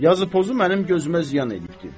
Yazı-pozu mənim gözümə ziyan eləyibdir.